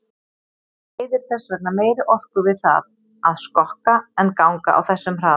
Maður eyðir þess vegna meiri orku við það að skokka en ganga á þessum hraða.